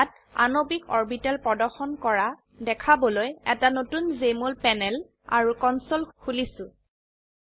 ইয়াত আণবিক অৰবিটেল প্ৰদৰ্শন কৰা দেখাবলৈ এটা নতুন জেএমঅল প্যানেল আৰু কনসোল খুলিছো